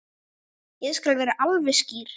Ég skal vera alveg skýr.